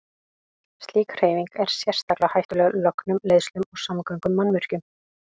Slík hreyfing er sérstaklega hættuleg lögnum, leiðslum og samgöngumannvirkjum.